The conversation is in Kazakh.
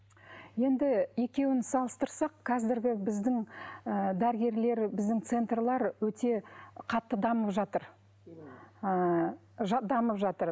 енді екеуін салыстырсақ қазіргі біздің ы дәрігерлер біздің центрлер өте қатты дамып жатыр ыыы дамып жатыр